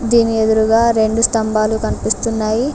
దీని ఎదురుగా రెండు స్తంభాల కనిపిస్తున్నాయి.